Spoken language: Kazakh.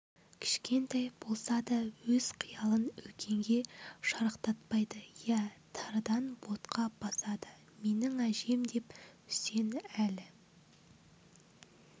кішкентай болса да өз қиялын үлкенге шарықтатпайды иә тарыдан ботқа басады менің әжем деп үсен әлі